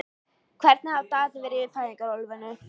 Hvernig hafa dagarnir verið í fæðingarorlofinu?